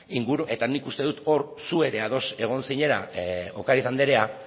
eta nik uste dut hor zu ere ados egon zinela ocariz andrea